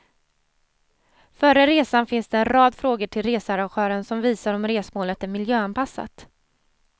Före resan finns det en rad frågor till researrangören som visar om resmålet är miljöanpassat.